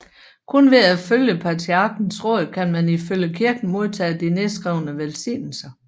Kun ved at følge patriarkens råd kan man ifølge kirken modtage de nedskrevne velsignelser